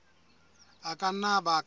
a ka nna a baka